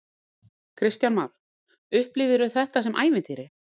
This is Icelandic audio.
Kristján Már: Upplifirðu þetta sem ævintýri?